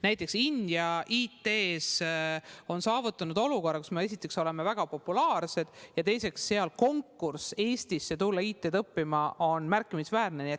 Näiteks India on IT-s saavutanud olukorra, kus me esiteks oleme väga populaarsed ja teiseks on seal konkurss, et Eestisse tulla IT-d õppima, märkimisväärne.